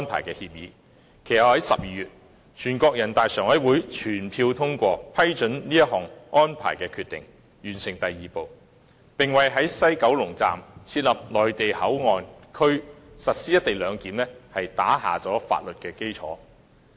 其後在12月，人大常委會作出決定，批准《合作安排》，完成"三步走"第二步，並為在西九龍站設立內地口岸區實施"一地兩檢"定下了法律基礎。